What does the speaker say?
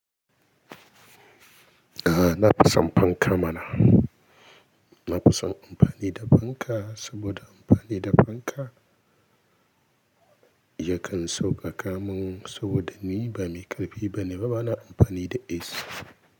A'a, na fi son fankan mana. Na fi son amfani da fanka saboda amfani da fanka yakan sauƙaƙa mun saboda ni ba mai ƙarfi bane, kuma bana amfani da ace.